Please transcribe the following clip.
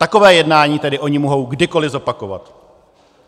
Takové jednání tedy oni mohou kdykoliv zopakovat.